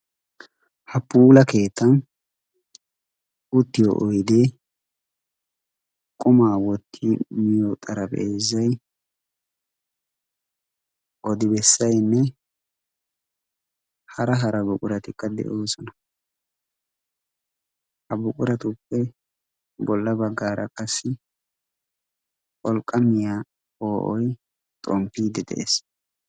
ha puula keetta guttiyo oidee qumaa wotti miyo xarabeezai odibessainne hara hara buquratikka de7oosona ha buquratuppe bolla baggaara qassi olqqa miyaa poo7oi xomppiiddi de7ees